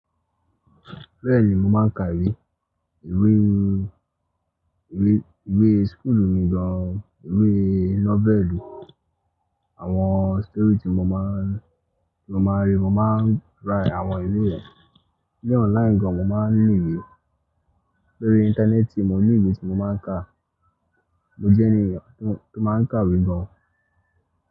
Bẹ́ẹ̀ni, mo máa ń ka ìwé, ìwé, ìwé skulu mi gan, ìwé nọ́vẹ̀lù, àwọn stori tí mo máa ń, tí mo máa ń rí, mo máa ń rá àwọn ìwé yẹn. Ni online gan mo máa ń ní ìwé, lórí íńtánẹ́ẹ̀tì mo ní ìwé tí mo máa ń kà. Mo jẹ́ ènìyàn tó, tó máa ń kà ìwé gan.